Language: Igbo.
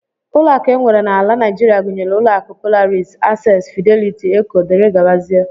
Ụlọakụ e nwere n'ala Naijiria gụnyere ụlọakụ Polaris, access, Fidelity, Eco, dgz